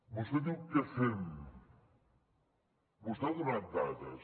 vostè diu què fem vostè ha donat dades